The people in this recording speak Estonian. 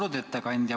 Austatud ettekandja!